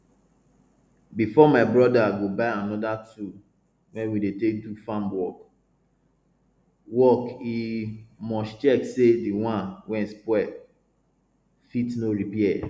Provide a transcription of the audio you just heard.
before my broda go buy anoda tool wey we dey take do farm work work e must check say the one wey spoil fit no repair